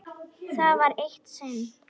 Það var eitt sinn.